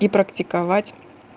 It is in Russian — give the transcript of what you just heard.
и практиковать